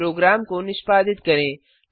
programme को निष्पादित करें